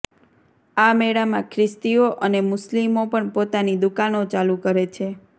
આ મેળામાં ખ્રિસ્તીઓ અને મુસ્લિમો પણ પોતાની દુકાનો ચાલુ કરે છે